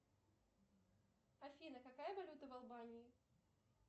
афина какая валюта в албании